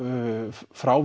frá